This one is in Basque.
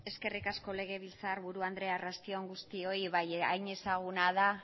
eskerrik asko legebiltzarburu andrea arratsalde on guztioi hain ezaguna da